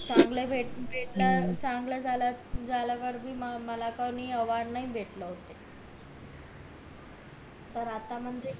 चांगलं भेटलं चांगलं झालं मला कोणी अवॉर्ड नाही भेटले होते तर आता म्हणजे